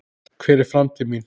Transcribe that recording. Hver er framtíð mín?